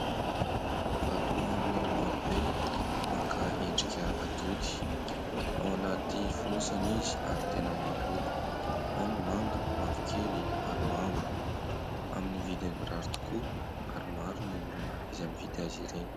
Vatomamy maro be maka endrika atody. Ao anaty fonosana izy ary tena maro loko, ao ny manga, mavokely ary mavo amin'ny vidiny mirary tokoa ary maro ny olona izay mividy azy ireny.